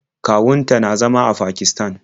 Kawun ta na zama a Pakisatan.